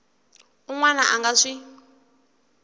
un wana a nga swi